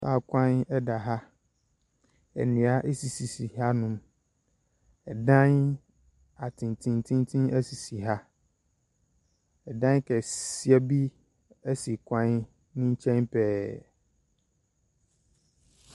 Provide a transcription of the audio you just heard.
Kar kwan ɛda ha ndua esisi ha nom ɛdan atentententen esisi ha ɛdan kɛseɛ bi esi kwan nekyɛn pɛɛ.